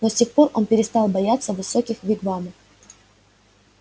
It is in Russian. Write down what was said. но с тех пор он перестал бояться высоких вигвамов